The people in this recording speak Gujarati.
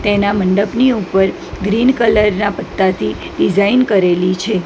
એના મંડપની ઉપર ગ્રીન કલર ના પત્તાથી ડિઝાઇન કરેલી છે.